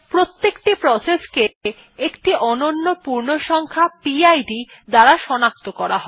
প্রত্যেকটি প্রসেসকে একটি অনন্য পূর্ণসংখ্যা পিড দ্বারা সনাক্ত করা হয়